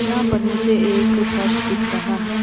यहाँ पर मुझे एक फर्श दिख रहा है।